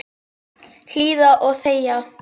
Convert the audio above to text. Hlýða og þegja.